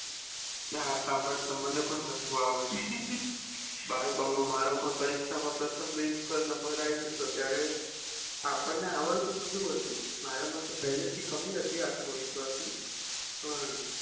ના સંભાળ મને પણ હસવું આવે છે બાળપણ માં મારો પણ પરીક્ષા માં પ્રથમ bench પર number આયી જતો ત્યારે આપણને આવડતું બધું હોતું મારે મતો પેલી થી કમી હતી આત્મવિશ્વાસ ની પણ